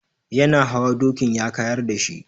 Yana hawa dokin ya kayar da shi.